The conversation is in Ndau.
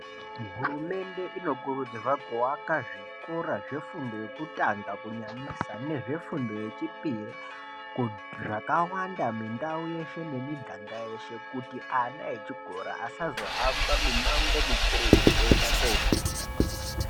Hurumende inokurudzirwe kuaka zvikora zvefundo yekutanga kunyanyisa nezvefundo yechipiri zvakawanda mundau yeshe nemiganga yeshe kuti ana echikora asazohamba mimango mikurutu kuenda kofunda.